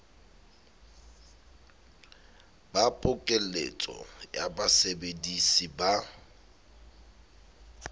ba pokeletso ya basebedisi ba